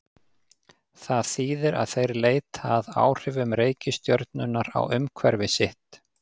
Það þýðir að þeir leita að áhrifum reikistjörnunnar á umhverfi sitt.